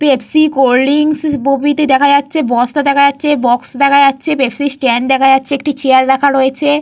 Pepsi cold drinks প্রভৃতি দেখা যাচ্ছে। বস্তা দেখা যাচ্ছে বক্স দেখা যাচ্ছে পেপসি স্ট্যান্ড দেখা যাচ্ছে। একটি চেয়ার রাখা রয়েছে।